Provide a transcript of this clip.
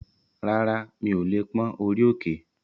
Rárá, mi ò lè pón orí òkè